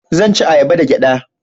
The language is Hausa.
zan ci ayaba da gyada